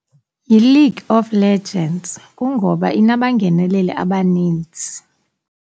YiLeague of Legends, kungoba inabangeneleli abaninzi.